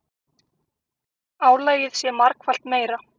Álagið sé margfalt meira.